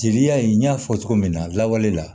Jeliya in n y'a fɔ cogo min na lawale la